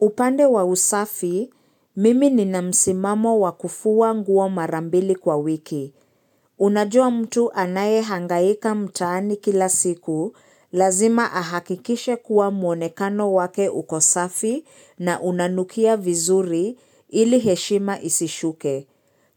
Upande wa usafi, mimi ni namsimamo wakufua nguo marambili kwa wiki. Unajua mtu anaye hangaika mtaani kila siku, lazima ahakikishe kuwa muonekano wake uko safi na unanukia vizuri ili heshima isishuke.